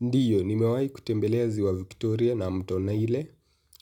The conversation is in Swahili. Ndiyo, nimewai kutembelea ziwa Victoria na mto nile,